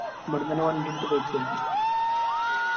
എബിടുന്നന്നെ വണ്ടിയെടുത്ത് പോയിക്കരുന്നു